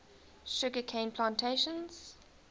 sugar cane plantations